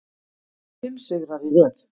Fimm sigrar í röð